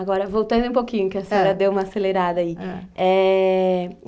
Agora, voltando um pouquinho, que a senhora deu uma acelerada aí. Ham. Ê... .